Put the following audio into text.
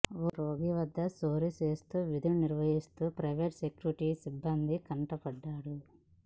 ఓ రోగి వద్ద చోరీ చేస్తూ విధులు నిర్వహిస్తున్న ప్రైవేటు సెక్యూరిటీ సిబ్బంది కంటపడ్డాడు